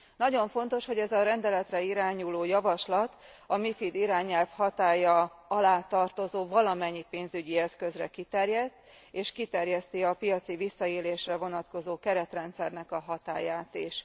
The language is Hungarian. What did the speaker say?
Nagyon fontos, hogy ez a rendeletre irányuló javaslat a MiFID irányelv hatálya alá tartozó valamennyi pénzügyi eszközre kiterjed, és kiterjeszti a piaci visszaélésre vonatkozó keretrendszernek a hatályát is.